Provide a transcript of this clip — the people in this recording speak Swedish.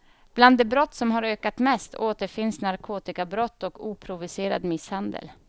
Bland de brott som har ökat mest återfinns narkotikabrott och oprovocerad misshandel.